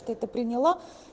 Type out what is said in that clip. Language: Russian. ты это приняла